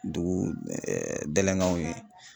Dugu ye.